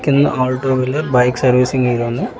పక్కనే all two wheeler bike servicing అని ఉంది.